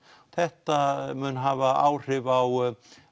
þetta mun hafa áhrif á